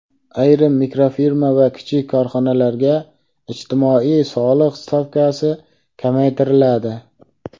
Ayrim mikrofirma va kichik korxonalarga ijtimoiy soliq stavkasi kamaytiriladi.